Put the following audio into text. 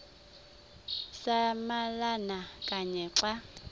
samalama kanye xa